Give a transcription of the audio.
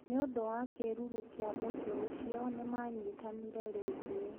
Nĩ ũndũ wa kĩĩruru kĩa mũtĩ ũcio, nĩ maanyitanire rĩngĩ.